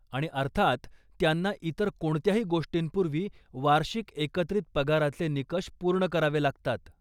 आणि अर्थात त्यांना इतर कोणत्याही गोष्टींपूर्वी वार्षिक एकत्रित पगाराचे निकष पूर्ण करावे लागतात.